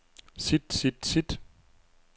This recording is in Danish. sit sit sit